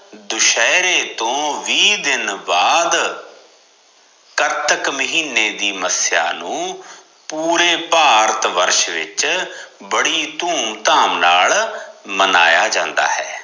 ਦੁਸ਼ਹਰੇ ਤੋ ਵੀਹ ਦਿਨ ਬਾਅਦ ਕਤਕ ਮਹੀਨੇ ਦੀ ਮਸਿਆ ਨੂੰ ਪੂਰੇ ਭਾਰਤ ਵਰਸ਼ ਵਿਚ ਬੜੀ ਧੂਮ ਧਾਮ ਨਾਲ ਮਨਾਇਆ ਜਾਂਦਾ ਹੈ